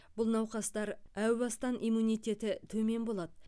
бұл науқастар әу бастан иммунитеті төмен болады